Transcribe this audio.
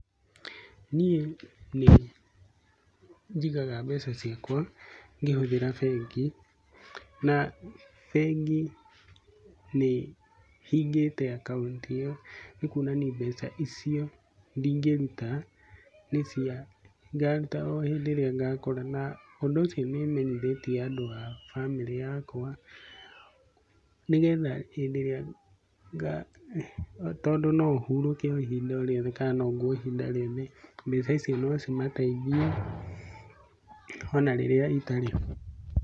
Niĩ nĩ njigaga mbeca ciakwa ngĩhuthĩra bengi na bengi nĩhingĩte akaunti ĩyo nĩ kuonania mbeca icio ndingĩruta nĩ cia, ngaruta o hĩndĩ ĩrĩa ngakora na ũndũ ũcio nĩ menyithĩtie andũ a bamĩrĩ yakwa nĩgetha hĩndĩ ĩrĩa nga, tondũ no ũhurũke ihinda o rĩothe ka no ngue ihinda rĩothe na mbeca icio no cimateithie ona rĩrĩa itarĩ ho.